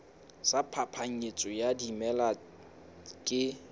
sa phapanyetso ya dimela ke